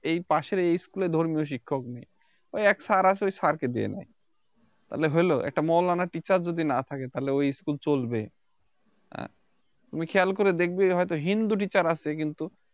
এই পাশের এই School এ ধর্মীয় শিক্ষক নেই ওই এক Sir আসে ওই Sir কে দিয়ে নেয় তাহলে হলো একটা মৌলানা Teacher যদি না থাকে তাহলে ওই School ছবি এ তুমি খেয়াল করে দেখবে হয়তো হিন্দু Teacher আছে কিন্তু